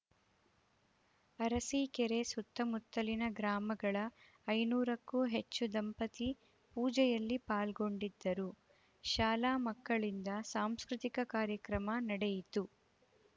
ಅರಸಿಕೆರೆ ಸುತ್ತಮುತ್ತಲಿನ ಗ್ರಾಮಗಳ ಐನೂರಕ್ಕೂ ಹೆಚ್ಚು ದಂಪತಿ ಪೂಜೆಯಲ್ಲಿ ಪಾಲ್ಗೊಂಡಿದ್ದರು ಶಾಲಾ ಮಕ್ಕಳಿಂದ ಸಾಂಸ್ಕೃತಿಕ ಕಾರ್ಯಕ್ರಮ ನಡೆಯಿತು